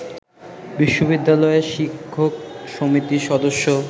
বিশ্ববিদ্যালয়ের শিক্ষক সমিতির সদস্য